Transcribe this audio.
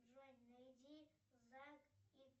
джой найди зак и